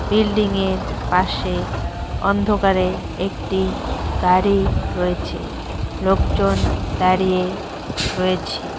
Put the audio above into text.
বিল্ডিংয়ের পাশে অন্ধকারে একটি গাড়ি রয়েছে লোকজন দাঁড়িয়ে রয়েছে।